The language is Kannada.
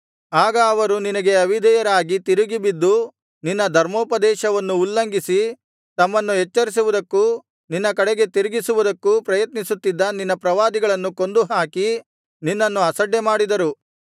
ಆಗ ಅವರು ನಿನಗೆ ಅವಿಧೇಯರಾಗಿ ತಿರುಗಿ ಬಿದ್ದು ನಿನ್ನ ಧರ್ಮೋಪದೇಶವನ್ನು ಉಲ್ಲಂಘಿಸಿ ತಮ್ಮನ್ನು ಎಚ್ಚರಿಸುವುದಕ್ಕೂ ನಿನ್ನ ಕಡೆಗೆ ತಿರುಗಿಸುವುದಕ್ಕೂ ಪ್ರಯತ್ನಿಸುತ್ತಿದ್ದ ನಿನ್ನ ಪ್ರವಾದಿಗಳನ್ನು ಕೊಂದು ಹಾಕಿ ನಿನ್ನನ್ನು ಅಸಡ್ಡೆಮಾಡಿದರು